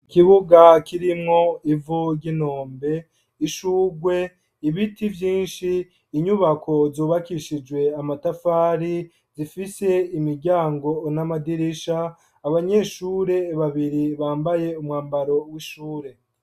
Ikibuga, kirimwo ivu ry'inombe; ishurwe, ibiti vyinshi, inyubako, zubakishijwe amatafari, zifise imiryango, n'amadirisha; abanyeshure babiri, bambaye umwambaro w'ishure.